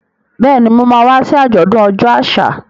Bẹ́ẹ̀ni, Mo ma wá sí àjọ̀dún ọjọ́ àṣà.